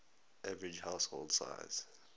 average household size